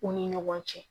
U ni ɲɔgɔn cɛ